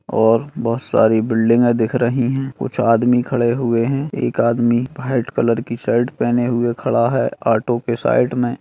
और बोहोत सारी बिल्डिंगे दिख रही है कुछ आदमी खड़े हुए है एक आदमी व्हाइट कलर की शर्ट पहने हुए खड़ा है ऑटो के साइड मे।